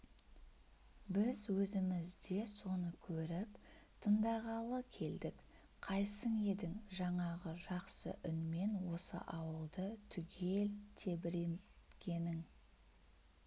біз өзіміз де соны көріп тындағалы келдік қайсың едің жаңағы жақсы үнмен осы ауылды түгел тебіренткенің